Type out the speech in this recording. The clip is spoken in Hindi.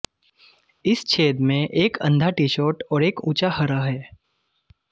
इस छेद में एक अंधा टी शॉट और एक ऊंचा हरा है